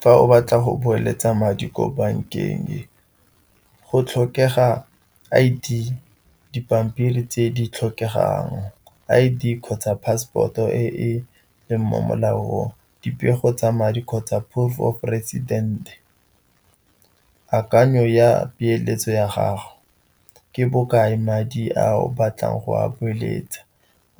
Fa o batla go beeletsa madi ko bankeng, go tlhokega I_D, dipampiri tse di tlhokegang, I_D kgotsa passport e e leng mo molaong, dipego tsa madi kgotsa proof of residence. Akanyo ya peeletso ya gago ke bokae madi a o batlang go a beeletsa,